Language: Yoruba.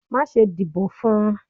Ma sé dibò fún